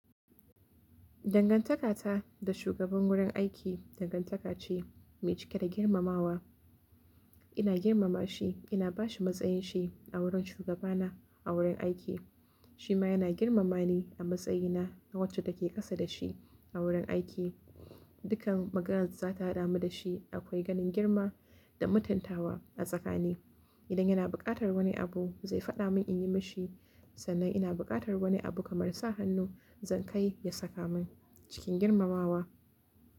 Dangantakata da shugaban wurin aiki, dangantaka ce mai cike da girmamawa. Ina girmama shi, ina ba shi matsayin shi a wurin shugaba na a wurin aiki. Shi ma yana girmama ni a matsayina na wacce take ƙasa da shi a wurin aiki. Dukkan maganar da za ta haɗa mu da shi akwai ganin girma da mutuntawa a tsakani. Idan yana buƙatar wani abu, zai faɗa mun in yi mishi, sannan ina buƙatar wani abu kamar sa hannu, zan kai ya saka mun cikin girmamawa.